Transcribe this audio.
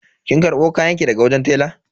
Kin karbo kayanki daga wajen tela?